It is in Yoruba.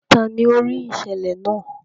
Tani o rii iṣẹlẹ naa?